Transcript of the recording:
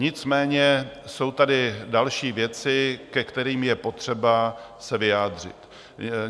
Nicméně jsou tady další věci, ke kterým je potřeba se vyjádřit.